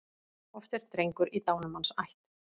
Oft er drengur í dánumanns ætt.